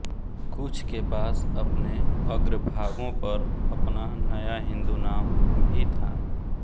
कुछ के पास अपने अग्रभागों पर अपना नया हिंदू नाम भी था